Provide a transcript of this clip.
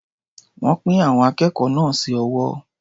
Wọ́n pín àwọn akẹ́kọ̀ọ́ náà sí ọ̀wọ́.